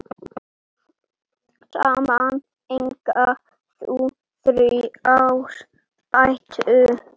Saman eiga þau þrjár dætur.